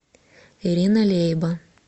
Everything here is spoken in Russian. ирина лейба